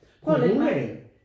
Coronaen?